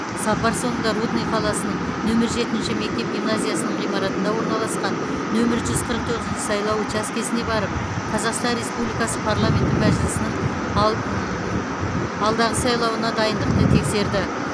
сапар соңында рудный қаласының нөмір жетінші мектеп гимназиясының ғимаратында орналасқан нөмір жүз қырық тоғызыншы сайлау учаскесіне барып қазақстан республикасы парламенті мәжілісінің ал алдағы сайлауына дайындықты тексерді